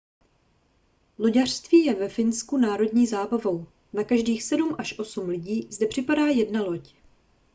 loďařství je ve finsku národní zábavou na každých sedm až osm lidí zde připadá jedna loď